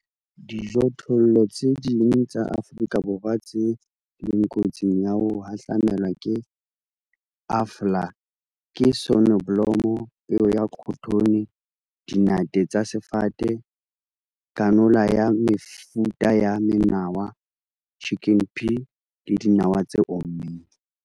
Dijothollo tse ding tsa Afrika Borwa tse leng kotsing ya ho hahlamelwa ke AFLA ke soneblomo, peo ya khothone, dinate tsa sefate, canola le mefuta ya menawa, chicken pea le dinawa tse ommeng.